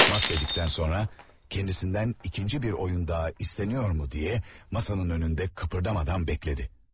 Mat dedikdən sonra ondan ikinci bir oyun daha istənilirmi deyə masanın qarşısında tərpənmədən gözlədi.